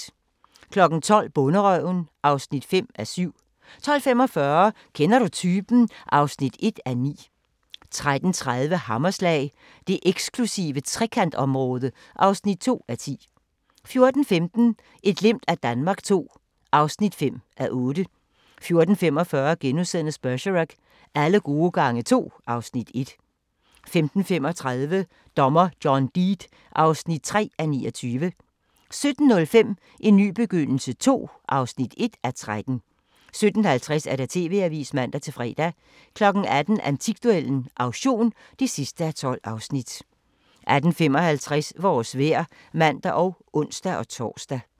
12:00: Bonderøven (5:7) 12:45: Kender du typen? (1:9) 13:30: Hammerslag – det eksklusive Trekantområde (2:10) 14:15: Et glimt af Danmark II (5:8) 14:45: Bergerac: Alle gode gange to (Afs. 1)* 15:35: Dommer John Deed (3:29) 17:05: En ny begyndelse II (1:13) 17:50: TV-avisen (man-fre) 18:00: Antikduellen - auktion (12:12) 18:55: Vores vejr (man og ons-tor)